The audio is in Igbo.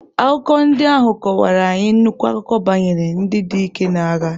Akụkọ ndị ahụ akọwarara anyị nnukwu akụkọ banyere ndị dike na agha.